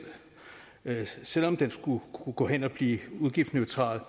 selv om den skulle kunne gå hen og blive udgiftsneutral